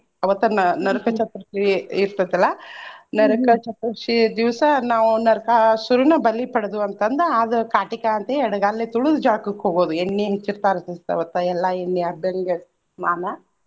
ಅವತ್ತ ನ~ ನರಕ ಚತುರ್ಥಿ ಇರ್ತೆತಲ್ಲಾ ನರಕ ಚತುರ್ಥಿ ದಿವ್ಸ ನಾವ್ ನರಕಾಸುರನ ಬಲಿ ಪಡ್ದು ಅಂತ್ ಅಂದ ಅದ್ ಕಾಟಿಕಾಯಿ ಅಂತ ಎಡಗಾಲೆ ತುಳ್ದ್ ಜಳಕ್ಕಕ ಹೋಗೋದು ಎಣ್ಣಿ ಹಚ್ಚಿರ್ತಾರ ಸಿಸ್ತ ಅವತ್ತ ಎಲ್ಲಾ ಎಣ್ಣಿ ಅರ್ದಂಗ ಸ್ನಾನಾ.